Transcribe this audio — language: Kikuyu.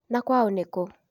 Na kwao nĩ kũ?